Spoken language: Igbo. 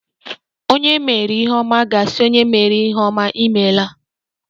Onye e meere ihe ọma ga-asị onye meere ya ihe ọma, "Imeela!"